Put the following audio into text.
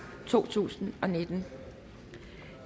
to tusind og nitten